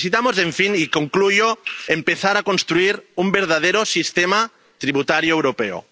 Necesitamos, en fin —y concluyo—, empezar a construir un verdadero sistema tributario europeo.